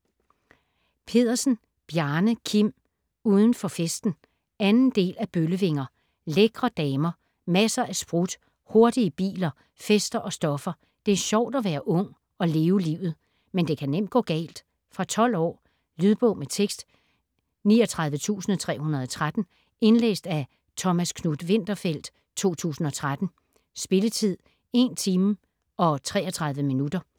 Pedersen, Bjarne Kim: Uden for festen 2. del af Bøllevinger. Lækre damer, masser af sprut, hurtige biler, fester og stoffer. Det er sjovt at være ung og leve livet. Men det kan nemt gå galt. Fra 12 år. Lydbog med tekst 39313 Indlæst af Thomas Knuth-Winterfeldt, 2013. Spilletid: 1 timer, 33 minutter.